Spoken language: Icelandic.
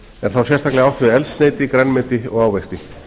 er þá sérstaklega átt við eldsneyti grænmeti og ávexti